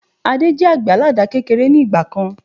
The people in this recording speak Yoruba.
Adé jẹ àgbẹ̀ àládà kékeré ni ìgbàkan